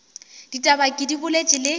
ditaba ke di boletše le